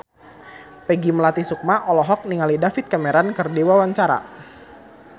Peggy Melati Sukma olohok ningali David Cameron keur diwawancara